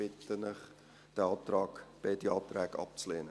Ich bitte Sie, beide Anträge abzulehnen.